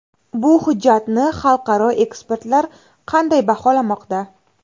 Bu hujjatni xalqaro ekspertlar qanday baholamoqda?